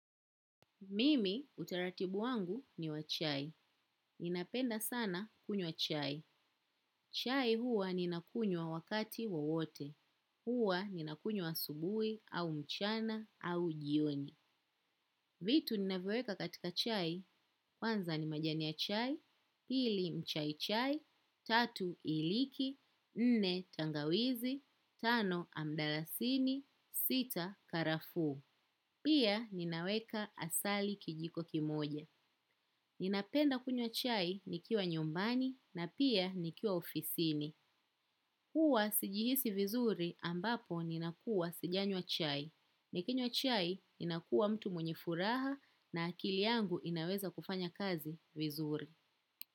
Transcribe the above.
Mimi utaratibu wangu ni wa chai. Ninapenda sana kunywa chai. Chai huwa ninakunywa wakati wowote. Huwa ninakunywa asubui au mchana au jioni. Vitu ninavyoweka katika chai kwanza ni majani ya chai, pili mchai chai, tatu iliki, nne tangawizi, tano mdalasini, sita karafuu. Pia ninaweka asali kijiko kimoja. Ninapenda kunywa chai nikiwa nyumbani na pia nikiwa ofisini. Huwa sijihisi vizuri ambapo ninakuwa sijanywa chai. Nikinywa chai ninakuwa mtu mwenye furaha na akili yangu inaweza kufanya kazi vizuri.